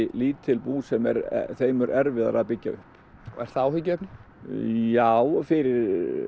lítil bú sem er þeim mun erfiðara að byggja upp er það áhyggjuefni já fyrir